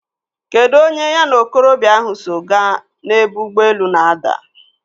Kedụ onye ya na okorobịa ahụ so gaa n'ebe ụgbọelu na-ada?